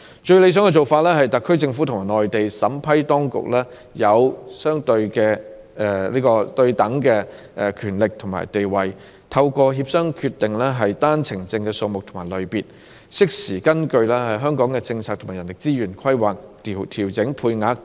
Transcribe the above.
最理想的做法是讓特區政府與內地審批當區擁有對等的權力和地位，透過協商決定單程證的數目和類別，適時根據香港的政策和人力資源規劃調整配額。